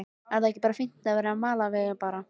Er þá ekki bara fínt að vera með malarvelli bara?